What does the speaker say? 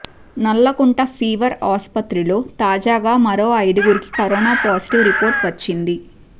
Nallakunta fever ఆస్పత్రిలో తాజాగా మరో ఐదుగురికి కరోనా పాజిటివ్ రిపోర్టు వచ్చింది